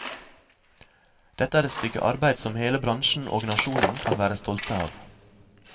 Dette er et stykke arbeid som hele bransjen og nasjonen kan være stolte av.